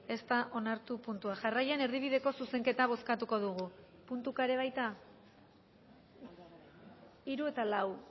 ez da onartu puntua jarraian erdibideko zuzenketa bozkatuko dugu puntuka ere baita hiru eta lau